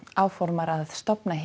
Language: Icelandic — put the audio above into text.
áformar að stofna